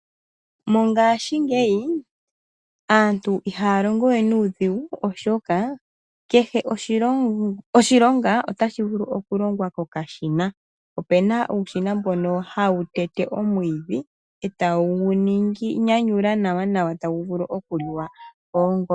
Mongashingeyi aantu ihaya longo we nuudhigu oshoka kehe oshilonga otashi vulu okulongwa kokashina. Opuna okashina hono haka tete omwiidhi e take gu nyanyula nawa gu vule okuliwa koongombe.